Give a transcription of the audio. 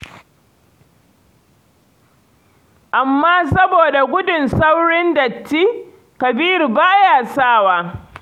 Amma saboda gudun saurin datti, Kabiru ba ya sa wa.